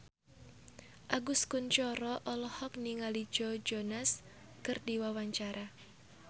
Agus Kuncoro olohok ningali Joe Jonas keur diwawancara